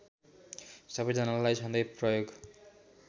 सबैजनालाई सधैँ प्रयोग